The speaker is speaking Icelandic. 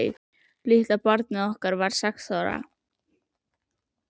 Litla barnið okkar var sex ára.